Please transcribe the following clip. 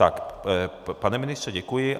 Tak, pane ministře, děkuji.